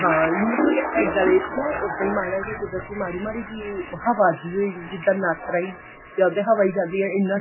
ਹਾਂ ਮਤਲਬ ਕੀ ਇਹ ਗੱਲੇ ਚ ਨਾ ਉੱਦਾਂ ਈ ਮਾੜਾ ਜਾ ਕੁਦਰਤੀ ਮਾੜੀ ਮਾੜੀ ਜੀ ਹਵਾ ਜੀ ਉਈ ਜਿੱਦਾਂ ਨੱਕ ਰਾਹੀ ਤੇ ਉਹਦੇ ਹਵਾ ਈ ਜਾਂਦੀ ਏ ਇੰਨਾ